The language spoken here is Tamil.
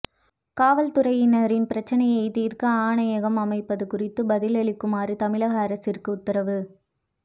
காவல்துறையினரின் பிரச்சினையை தீர்க்க ஆணையகம் அமைப்பது குறித்து பதிலளிக்குமாறு தமிழக அரசிற்கு உத்தரவு